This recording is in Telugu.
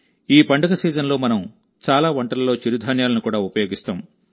ఈ పండగ సీజన్లో మనం చాలా వంటలలో చిరుధాన్యాలను కూడా ఉపయోగిస్తాం